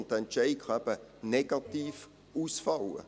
und dieser Entschied kann eben negativ ausfallen.